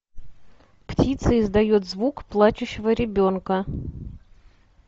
птица издает звук плачущего ребенка